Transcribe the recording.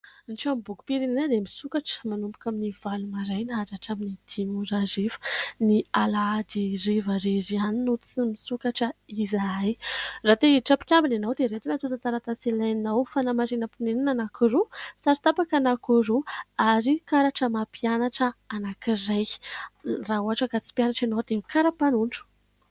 Ny tranombokim-pirenena dia misokatra manomboka amin'ny valo maraina hatramin'ny dimy hariva. Ny alahady hariva irery ihany no tsy misokatra izahay. Raha te-hiditra ho mpikambana ianao dia ireto ny atotan-taratasy ilainao : fanamarinam-ponenana anankiroa, sary tapaka anankiroa ary karatra maha-mpianatra anankiray. Raha ohatra ka tsy mpianatra ianao dia ny karapanondro.